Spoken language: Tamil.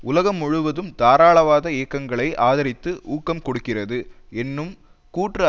உலகம் முழுவதும் தாராளவாத இயக்கங்களை ஆதரித்து ஊக்கம் கொடுக்கிறது என்னும் கூற்று